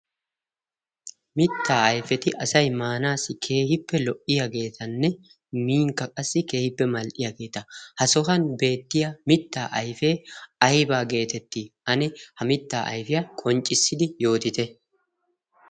mittaa aifeti asai maanaassi keehippe lo77iyaageetanne minkka qassi keehippe mal77iyaageeta ha sohan beettiya mittaa aifee aibaa geetetti? ane ha mittaa aifiyaa qonccissidi yootite?